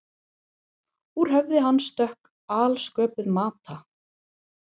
Úr höfði hans stökk alsköpuð Mata